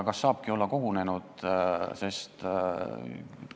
Kas saabki olla kogunenud?